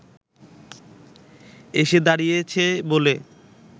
এসে দাঁড়িয়েছে বলে